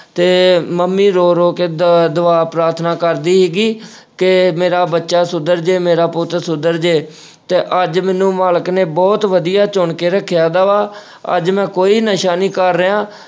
ਤੇ ਮੰਮੀ ਰੋ-ਰੋ ਕੇ ਦੁ ਆਹ ਦੁਆ ਪ੍ਰਾਰਥਨਾ ਕਰਦੀ ਸੀਗੀ ਕਿ ਮੇਰਾ ਬੱਚਾ ਸੁਧਰ ਜੇ, ਮੇਰਾ ਪੁੱਤ ਸੁਧਰ ਜੇ ਤੇ ਅੱਜ ਮੈਨੂੰ ਮਾਲਕ ਨੇ ਬਹੁਤ ਵਧੀਆ ਚੁਣ ਕੇ ਰੱਖਿਆ ਹੈਗਾ ਵਾ ਅੱਜ ਮੈਂ ਕੋਈ ਨਸ਼ਾ ਨਹੀਂ ਕਰ ਰਿਹਾ।